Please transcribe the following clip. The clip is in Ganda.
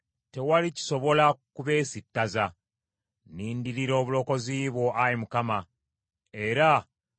Nnindirira obulokozi bwo, Ayi Mukama , era mu biragiro byo mwe ntambulira.